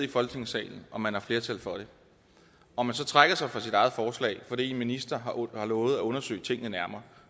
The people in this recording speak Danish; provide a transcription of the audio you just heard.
i folketingssalen og man har flertal for det og man så trækker sig fra sit eget forslag fordi en minister har lovet at undersøge tingene nærmere